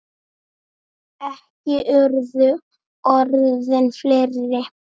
Ekki urðu orðin fleiri.